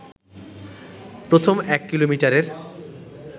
প্রথম এক কিলোমিটারের